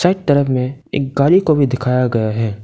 Right तरफ में एक गाड़ी को भी दिखाया गया है।